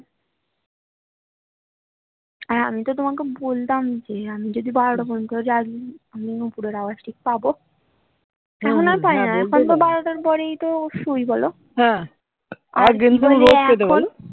আর আমি তো তোমাকে বলতাম যে আমি যদি বারোটা পর্যন্ত জাগি আমি নুপুরের আওয়াজ ঠিক পাবো এখন আর পাই না এখন তো বারোটার পরেই তো শুই বলো